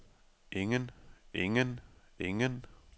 ingen ingen ingen